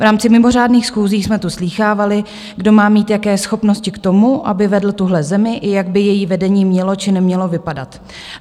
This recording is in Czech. V rámci mimořádných schůzí jsme tu slýchávali, kdo má mít jaké schopnosti k tomu, aby vedl tuhle zemi, i jak by její vedení mělo či nemělo vypadat.